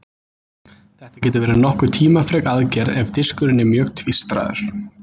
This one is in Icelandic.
Þetta getur verið nokkuð tímafrek aðgerð ef diskurinn er mjög tvístraður.